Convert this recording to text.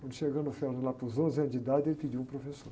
Quando chegamos lá para os onze anos de idade, ele pediu um professor.